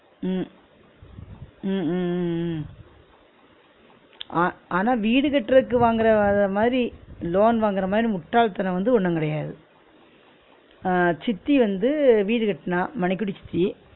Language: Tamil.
உம் உம் உம் உம் உம் ஆ~ ஆனா வீடு கட்டுறதுக்கு வாங்கறத மாறி loan வாங்குற மாறி முட்டாள் தனம் வந்து ஒன்னு கிடையாது ஆஹ் சித்தி வந்து வீடு கட்டுனா மணிக்குடி சித்தி